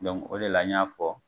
o de la n y'a fɔ.